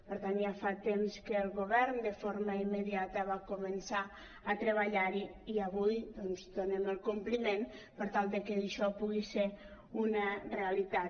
per tant ja fa temps que el govern de forma immediata va començar a treballar·hi i avui doncs donem el compliment per tal que això pugui ser una realitat